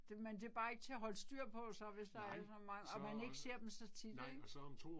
Det men det bare ikke til at holde styr på så hvis der er så mange og man ikke ser dem så tit ik